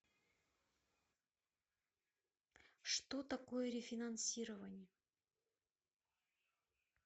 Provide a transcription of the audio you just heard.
что такое рефинансирование